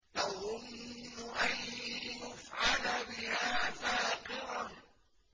تَظُنُّ أَن يُفْعَلَ بِهَا فَاقِرَةٌ